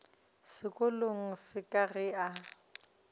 sekolong se ka ge a